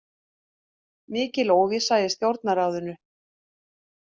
Mikil óvissa í Stjórnarráðinu